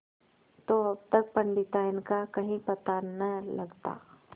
तो अब तक पंडिताइन का कहीं पता न लगता